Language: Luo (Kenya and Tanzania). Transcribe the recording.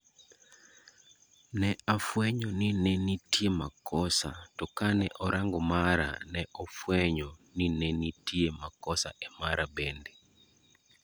Ne afuenyo ni nenitie makosa to kane orango mara ,ne ofuenyo ninetie makosa emara bende.